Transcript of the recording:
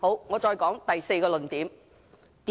我再說第四個論點。